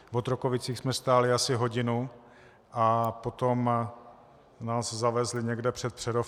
V Otrokovicích jsme stáli asi hodinu a potom nás zavezli někde před Přerov.